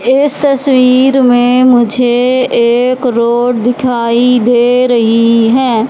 इस तस्वीर में मुझे एक रोड दिखाई दे रही है।